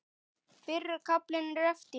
Fyrri kaflinn er eftir